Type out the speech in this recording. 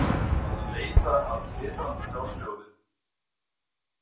Hún var að leita að glitrandi fjársjóði.